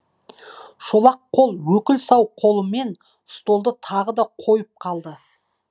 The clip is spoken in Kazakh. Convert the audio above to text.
шолақ қол өкіл сау қолымен столды тағы да қойып қалды